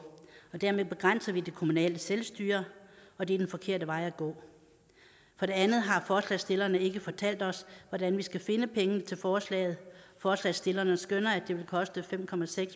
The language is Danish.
og dermed begrænser vi det kommunale selvstyre og det er den forkerte vej at gå for det andet har forslagsstillerne ikke fortalt os hvordan vi skal finde pengene til forslaget forslagsstillerne skønner at det vil koste fem